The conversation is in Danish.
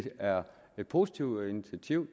er et positivt initiativ